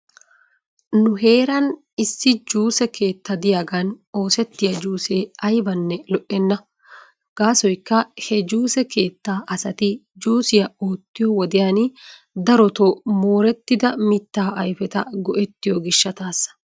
Nu heera issi juuse keetta diyaaga oosettiyaa juusee aybanne lo"enna. Gaasoykka he juuse keettaa asati juusiyaa oottiyoo wodiyan daroto moorettida mittaa ayfeta go'ettiyoo gishshataasa.